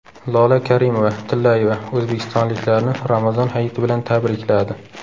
Lola Karimova-Tillayeva o‘zbekistonliklarni Ramazon hayiti bilan tabrikladi .